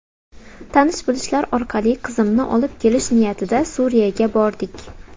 Tanish-bilishlar orqali qizimni olib kelish niyatida Suriyaga bordik.